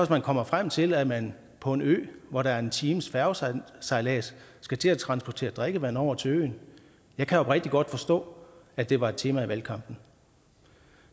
man kommer frem til at man på en ø hvor der er en times færgesejlads skal til at transportere drikkevand over til øen jeg kan oprigtigt godt forstå at det var et tema i valgkampen